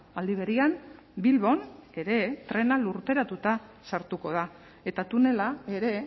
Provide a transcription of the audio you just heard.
aldi berean bilbon ere trena lurperatuta sartuko da eta tunela ere